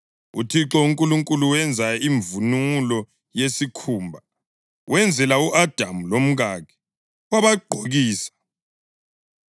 UThixo uNkulunkulu wenza imvunulo yesikhumba, wenzela u-Adamu lomkakhe, wabagqokisa.